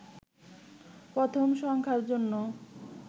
প্রথম সংখ্যার জন্য